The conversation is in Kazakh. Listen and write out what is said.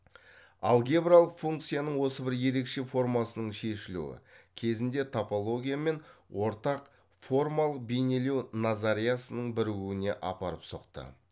алгебралық функцияның осы бір ерекше формасының шешілуі кезінде топология мен ортақ формалық бейнелеу назариясының бірігуіне апарып соқты